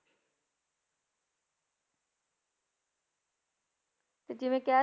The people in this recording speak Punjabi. ਤੇ ਜਿਵੇਂ ਕਹਿ,